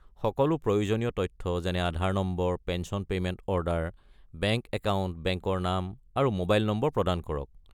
সকলো প্ৰয়োজনীয় তথ্য যেনে Aadhaar number, pension payment order, bank account, বেংকৰ নাম আৰু মোবাইল নম্বৰ প্ৰদান কৰক।